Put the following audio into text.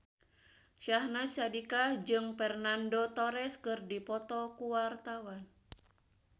Syahnaz Sadiqah jeung Fernando Torres keur dipoto ku wartawan